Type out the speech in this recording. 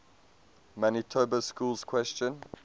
manitoba schools question